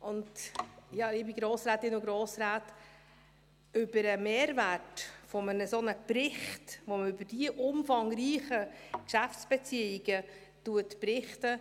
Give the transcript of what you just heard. Ja, liebe Grossrätinnen und Grossräte, über den Mehrwert eines solchen Berichts, in dem man über diese umfangreichen Geschäftsbeziehungen berichtet: